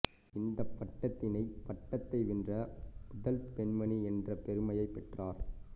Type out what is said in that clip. இந்தப் பட்டத்தினை பட்டத்தை வென்ற முதல் பெண்மணி என்ற பெருமையை பெற்றார்